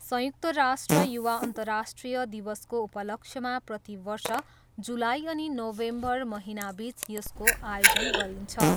संयुक्त राष्ट्र युवा अर्न्तराष्ट्रिय दिवसको उपलक्ष्यमा प्रतिवर्ष जुलाई अनि नोभेम्बर महिनाबिच यसको आयोजन गरिन्छ।